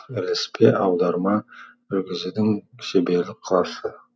ілеспе аударма жүргізудің шеберлік классы